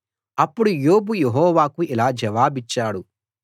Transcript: అప్పుడు యోబు యెహోవాకు ఇలా జవాబిచ్చాడు